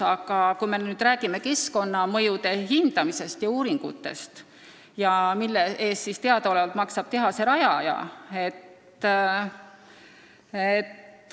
Aga räägin nüüd keskkonnamõjude hindamisest ja uuringutest, mille eest teadaolevalt maksab tehase rajaja.